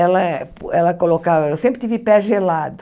Ela pu ela colocava... Eu sempre tive pé gelado.